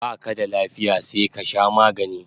Baka da lafiya sai ka sha magani